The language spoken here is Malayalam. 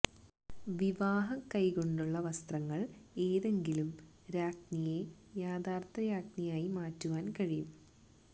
വിവാഹ കൈകൊണ്ടുള്ള വസ്ത്രങ്ങൾ ഏതെങ്കിലും രാജ്ഞിയെ യഥാർഥ രാജ്ഞിയായി മാറ്റുവാൻ കഴിയും